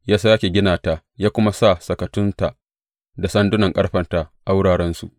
Ya sāke gina ta ya kuma sa sakatunta, da sanduna ƙarfenta a wurarensu.